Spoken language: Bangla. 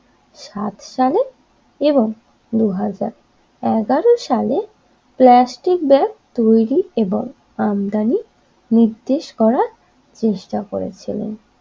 সাত সালে এবং দুই হাজার এগারো সালে প্লাস্টিক ব্যাগ তৈরি এবং আমদানি নির্দেশ করার চেষ্টা করেছিল